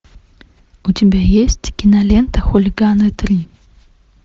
у тебя есть кинолента хулиганы три